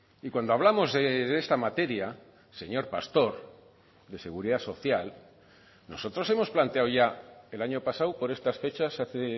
y cuando hablamos de esta materia señor pastor de seguridad social nosotros hemos planteado ya el año pasado por estas fechas hace